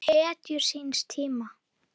Þau voru hetjur síns tíma.